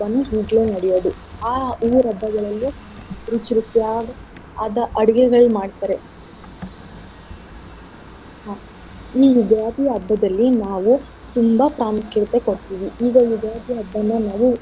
ಈಗ್ಲೆ ನಡ್ಯೋದು. ಆ ಊರ್ ಹಬ್ಬಗಳಲ್ಲಿ ರುಚಿ ರುಚಿಯಾದ ಆದ ಅಡ್ಗೆಗಳ್ ಮಾಡ್ತಾರೆ. ಈ ಯುಗಾದಿ ಹಬ್ಬದಲ್ಲಿ ನಾವು ತುಂಬಾ ಪ್ರಾಮುಖ್ಯತೆ ಕೊಡ್ತಿವಿ ಈಗ ಯುಗಾದಿ ಹಬ್ಬನಾ ನಾವು.